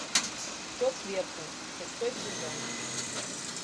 кто сверху шестой сезон